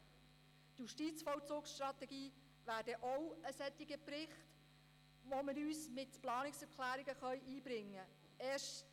Die Justizvollzugsstrategie wäre auch ein Bericht, bei dem wir uns mit Planungserklärungen einbringen könnten.